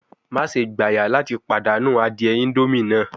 Maṣe gbaya lati padanu adie indomie naa